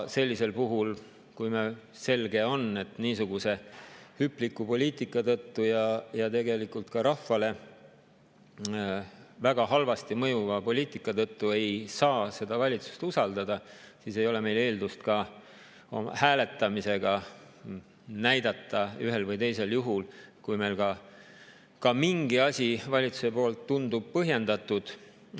Sellisel puhul, kui selge on, et niisuguse hüpliku poliitika tõttu ja tegelikult ka rahvale väga halvasti mõjuva poliitika tõttu ei saa seda valitsust usaldada, siis ei ole meil eeldust ka hääletamisega ühel või teisel juhul näidata, et meile mingi valitsuse otsus tundub isegi põhjendatud.